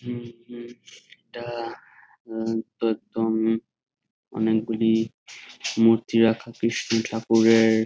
উ উ এটা অনেক গুলি মূর্তি রাখা কৃষ্ণ ঠাকুরের ।